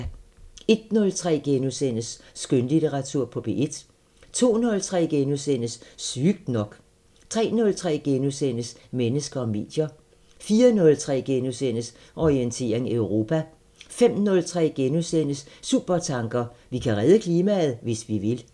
01:03: Skønlitteratur på P1 * 02:03: Sygt nok * 03:03: Mennesker og medier * 04:03: Orientering Europa * 05:03: Supertanker: Vi kan redde klimaet, hvis vi vil *